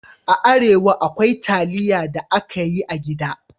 A Arewa, akwai taliya da aka yi a gida